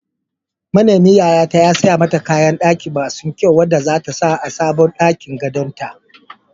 Manemin yayata ya siya mata kayan ɗaki masu kyau wanda zata sa a sabon ɗakin gadon ta.